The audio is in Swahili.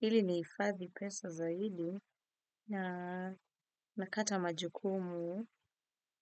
ili nihifadhi pesa zaidi na nakata majukumu.